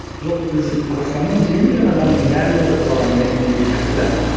жоқ біз қазақстанның он сегіз миллион адамының барлығы туралы әңгіме айтуымыз керек сияқты да